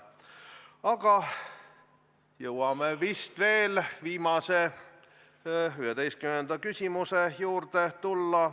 Aga jõuame vist veel viimase, 11. küsimuse juurde tulla.